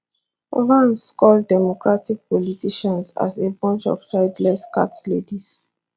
vance call democratic politicians as a bunch of childless cat ladies